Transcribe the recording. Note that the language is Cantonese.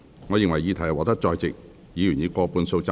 我認為議題獲得在席議員以過半數贊成。